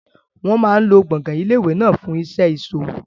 Wọn máa lo gbọ̀ngàn ilé ìwé náà fún iṣẹ́ ìṣòwò.